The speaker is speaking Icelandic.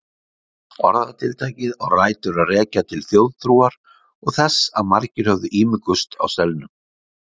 Orðatiltækið á rætur að rekja til þjóðtrúar og þess að margir höfðu ímugust á selnum.